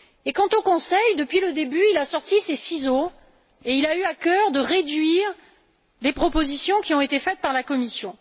Quant au Conseil, depuis le début, il a sorti ses ciseaux et a eu à cœur de réduire les propositions qui ont été faites par la Commission.